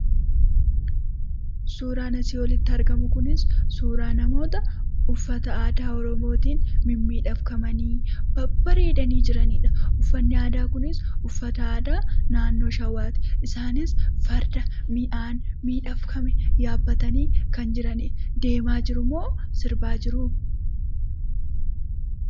Suuraan asii olitti argamu kun, suuraaa namoota uffata aadaa Oromootiin mimmiidhaganii : babbareedanii jiranidha. Uffanni aadaa kunis, uffata aadaa naannoo shawaati. Isaanis farda miidhagfame yaabbatanii kan jiranidha. Deemaa jirumoo sirbaa jiru?